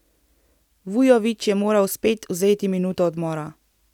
Vujović je moral spet vzeti minuto odmora.